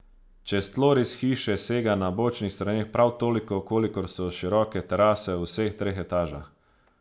Čez tloris hiše sega na bočnih straneh prav toliko, kolikor so široke terase v vseh treh etažah.